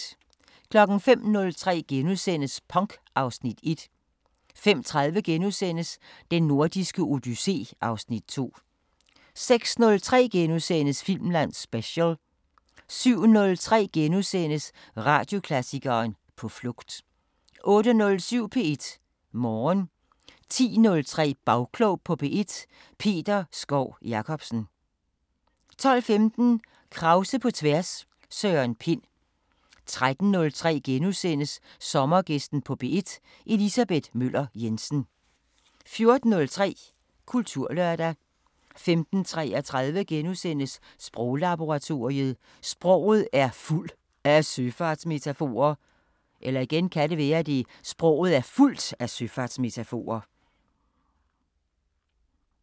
05:03: Punk (Afs. 1)* 05:30: Den Nordiske Odyssé (Afs. 2)* 06:03: Filmland Special * 07:03: Radioklassikeren: På flugt * 08:07: P1 Morgen 10:03: Bagklog på P1: Peter Skov Jacobsen 12:15: Krause på tværs: Søren Pind 13:03: Sommergæsten på P1: Elisabeth Møller Jensen * 14:03: Kulturlørdag 15:33: Sproglaboratoriet: Sproget er fuld af søfartsmetaforer *